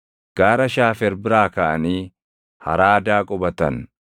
Gaara Shaafer biraa kaʼanii Haraadaa qubatan.